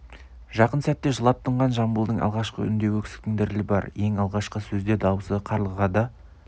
жақын сәтте жылап тынған жамбылдың алғашқы үнінде өксіктің дірілі бар ең алғашқы сөзде даусы қарлыға да